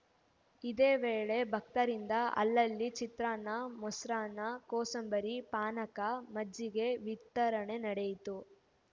ಇದೇ ವೇಳೆ ಭಕ್ತರಿಂದ ಅಲ್ಲಲ್ಲಿ ಚಿತ್ರಾನ್ನ ಮೊಸರನ್ನ ಕೋಸಂಬರಿ ಪಾನಕ ಮಜ್ಜಿಗೆ ವಿತರಣೆ ನಡೆಯಿತು